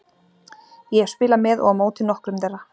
Ég hef spilað með og á móti nokkrum þeirra.